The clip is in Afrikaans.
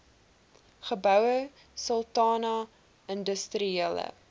goue sultana industriele